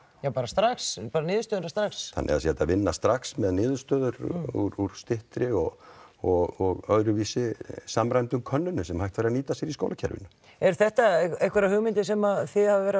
já bara strax niðurstöðurnar strax það sé hægt að vinna strax með niðurstöður úr styttri og og öðruvísi gerðum samræmdum könnunum sem hægt væri að nýta sér í skólakerfinu eru þetta einhverjar hugmyndir sem þið hafið verið